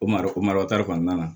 O malo mara kɔnɔna na